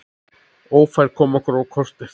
Ófærð kom okkur á kortið.